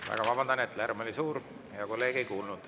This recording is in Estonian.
Väga vabandan, et lärm oli suur, hea kolleeg ei kuulnud.